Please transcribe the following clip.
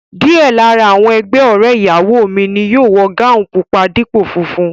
Díẹ̀ lára àwọn ẹgbẹ́ ọ̀rẹ́ ìyàwó ni yóò wọ gáùùn pupa dípò funfun